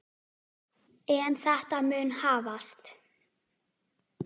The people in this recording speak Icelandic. En þetta mun hafast.